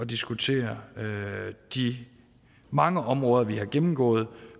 diskutere de mange områder vi har gennemgået